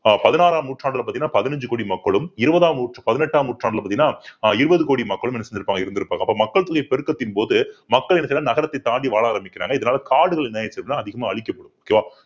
அஹ் பதினாறாம் நூற்றாண்டுல பாத்தீங்கன்னா பதினஞ்சு கோடி மக்களும் இருபதாம் நூற்று~ பதினெட்டாம் நூற்றாண்டுல பாத்தீங்கன்னா ஆஹ் இருபது கோடி மக்களும் என்ன செஞ்சிருப்பாங்க இருந்திருப்பாங்க அப்ப, மக்கள் தொகை பெருக்கத்தின் போது மக்கள் என்ன செய்யறாங்க நகரத்தைத் தாண்டி வாழ ஆரம்பிக்கிறாங்க இதனால காடுகள் என்ன ஆயிருச்சின்னா அதிகமா அழிக்கப்படுது okay வா